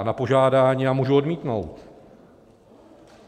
A na požádání já můžu odmítnout.